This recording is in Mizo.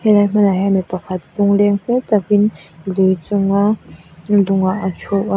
helai hmunah hian mipakhat lungleng hmel takin lui chunga lungah a thu a.